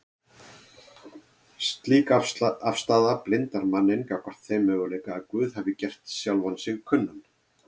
Slík afstaða blindar manninn gagnvart þeim möguleika að Guð hafi gert sjálfan sig kunnan